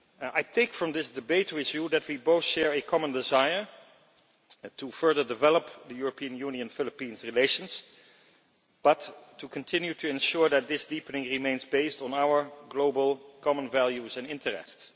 I think from this debate with you that we both share a common desire to further develop European Union Philippines relations, but to continue to ensure that this deepening remains based on our global common values and interests.